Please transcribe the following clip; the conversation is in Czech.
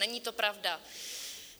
Není to pravda.